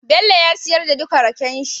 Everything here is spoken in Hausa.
Bello ya siyar da duka rakenshi